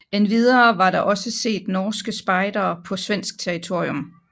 Endvidere var der også set norske spejdere på svensk territorium